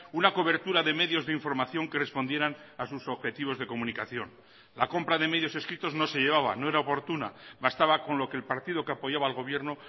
una cobertura de medios de información que respondieran a sus objetivos de comunicación la compra de medios escritos no se llevaba no era oportuna bastaba con lo que el partido que apoyaba al gobierno